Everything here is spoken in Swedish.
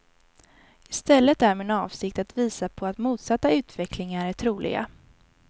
I stället är min avsikt att visa på att motsatta utvecklingar är troliga.